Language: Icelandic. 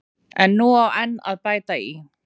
En nú á enn að bæta í.